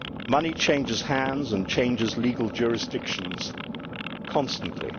Money changes hands and legal jurisdictions constantly.